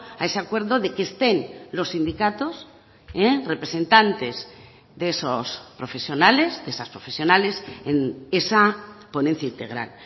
a ese acuerdo de que estén los sindicatos representantes de esos profesionales de esas profesionales en esa ponencia integral